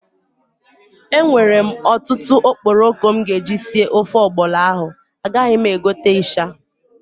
I have a lot of stockfish I will use to cook the ọgbọlọ soup and I don't still have to buy crayfish.